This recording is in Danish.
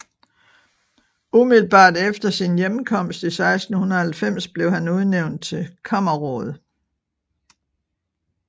Umiddelbart efter sin hjemkomst i 1690 blev han udnævnt til kammerråd